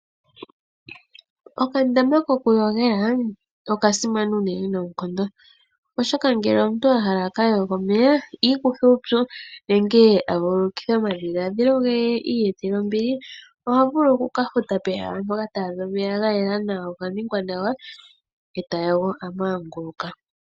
Okandama kokuyogela okasimana unene noonkondo. Oshoka ngele omuntu a hala aka yoge omeya, iikuthe uupyu nenge a vuulululikithe omadhiladhilo ge ye iiyetele ombili, oha vulu okukafuta pehala mpoka taadha omeya ga yela, go oga ningwa nawa e ta yogo a manguluka.